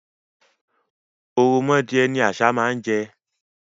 Ò̀ròmọdìẹ ni àṣá máa ń jẹ.